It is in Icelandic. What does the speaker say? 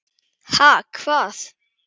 Ha, hvað?